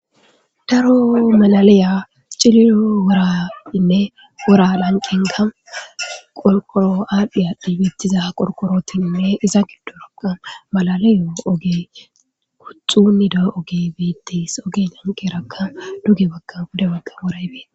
Daro malaliya ciliyo wora ime wora lanqinka qorqoro aadhdhiya dibettiza qorqorotinne iza giddoropqa malaliyo oge kutxunido oge beettis oge nanqerakka duge bagga gude bagga woray beetes.